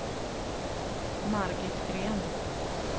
Margit Green